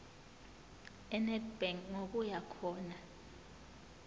enedbank ngokuya khona